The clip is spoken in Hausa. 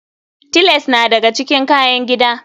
Tiles na daga cikin kayan gida.